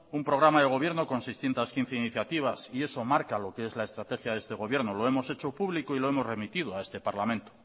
un programa de gobierno con seiscientos quince iniciativas y eso marca lo que es la estrategia de este gobierno lo hemos hecho público y lo hemos remitido a este parlamento